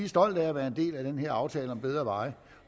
stolte af at være en del af den her aftale om bedre veje